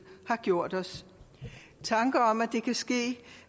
har gjort os tanker om at det kan ske